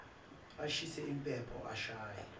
ashise impepho ashaye